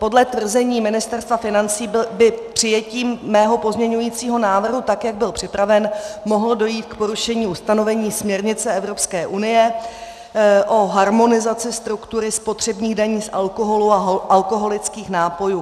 Podle tvrzení Ministerstva financí by přijetím mého pozměňujícího návrhu tak, jak byl připraven, mohlo dojít k porušení ustanovení směrnice Evropské unie o harmonizaci struktury spotřebních daní z alkoholu a alkoholických nápojů.